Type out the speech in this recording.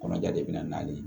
Kɔnɔja de bɛ na ye